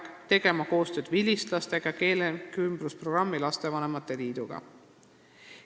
Samuti peab ta tegema koostööd vilistlastega ja Keelekümblusprogrammi Lapsevanemate Liiduga.